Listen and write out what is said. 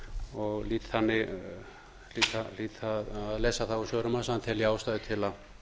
og hlýt að lesa það úr svörum hans að hann telji ástæðu til að